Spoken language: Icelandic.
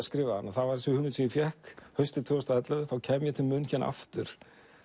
skrifaði hana var þessi hugmynd sem ég fékk haustið tvö þúsund og ellefu þá kem ég til aftur